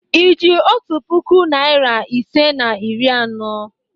Ị ji otu puku naịra isii na iri anọ?